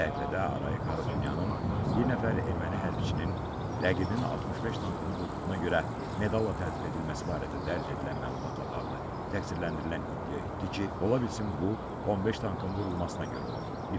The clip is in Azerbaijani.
Səhifədə Arayik Harutyunyanın bir nəfər erməni hərbiçinin rəqibin 65 tankını vurduğuna görə medalla təltif edilməsi barədə dərc edilən məlumatla bağlı təqsirləndirilən iddia etdi ki, ola bilsin bu 15 tankın vurulmasına görə olub.